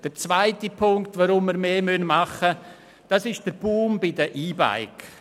Der zweite Grund dafür, dass wir mehr tun müssen, ist der Boom bei den E-Bikes.